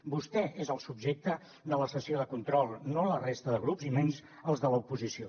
vostè és el subjecte de la sessió de control no la resta de grups i menys els de l’oposició